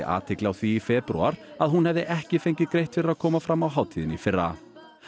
athygli á því í febrúar að hún hefði ekki fengið greitt fyrir að koma fram á hátíðinni í fyrra